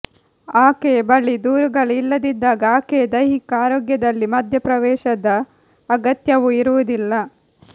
ಆಕೆಯ ಬಳಿ ದೂರುಗಳೇ ಇಲ್ಲದಿದ್ದಾಗ ಆಕೆಯ ದೈಹಿಕ ಆರೋಗ್ಯದಲ್ಲಿ ಮಧ್ಯಪ್ರವೇಶದ ಅಗತ್ಯವೂ ಇರುವುದಿಲ್ಲ